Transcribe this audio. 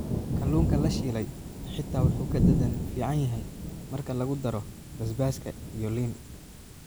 Kalluunka la shiilay xitaa wuu ka dhadhan fiican yahay marka lagu daro basbaaska iyo liin.